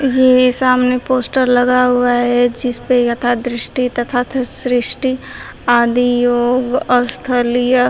यह सामने पोस्टर लगा हुआ है जिस पर यथा दृष्टि तथा सृष्टि आदि योग स्थलीय--